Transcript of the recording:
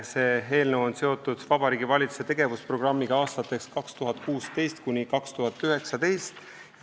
See eelnõu on seotud Vabariigi Valitsuse tegevusprogrammiga aastateks 2016–2019.